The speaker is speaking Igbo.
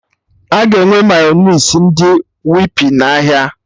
Aga enwe Mayọnais ndị Whippy n'ahịa